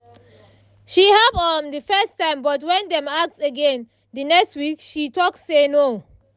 she help um the first time but when dem ask again the next week she um talk say no